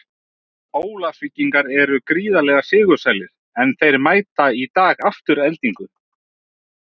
Ólafsvíkingar eru gríðarlega sigursælir, en þeir mæta í dag Aftureldingu.